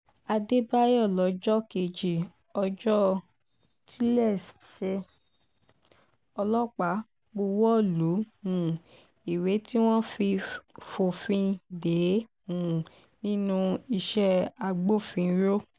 àdébáyò lọ́jọ́ kejì ọjọ́ tiléeṣẹ́ ọlọ́pàá buwọ́ lu um ìwé tí wọ́n fi fòfin dè é um nínú iṣẹ́ agbófinró